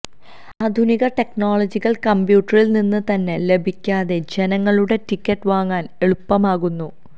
ആധുനിക ടെക്നോളജികൾ കമ്പ്യൂട്ടറിൽ നിന്ന് തന്നെ ലഭിക്കാതെ ജനങ്ങളുടെ ടിക്കറ്റ് വാങ്ങാൻ എളുപ്പമാക്കുന്നു